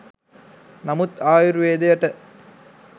නමුත් ආයුර්වේදයට